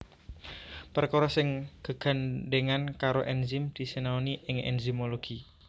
Perkara sing gegandhèngan karo enzim disinaoni ing enzimologi